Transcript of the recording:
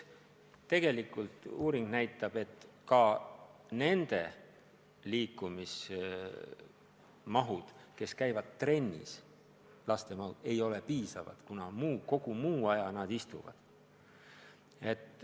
Uuringud näitavad, et ka trennis käivate laste liikumine ei ole piisav, kuna kogu muu aja nad istuvad.